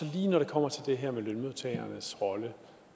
lige når det kommer til det her med lønmodtagernes rolle